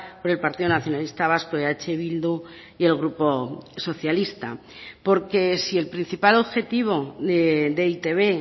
por el partido nacionalista vasco eh bildu y el grupo socialista porque si el principal objetivo de e i te be